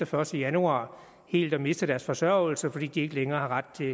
første januar helt at miste deres forsørgelse fordi de ikke længere har ret til